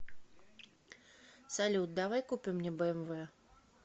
салют давай купим мне бмв